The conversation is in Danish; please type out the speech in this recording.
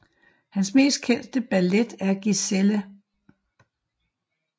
Hans mest kendte ballet er Giselle